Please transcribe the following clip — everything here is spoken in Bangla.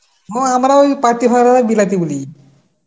মানে আমরাও পাতি বিলাতি বলি.